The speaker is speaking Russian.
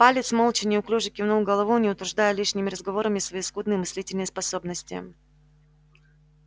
палец молча неуклюже кивнул головой не утруждая лишними разговорами свои скудные мыслительные способности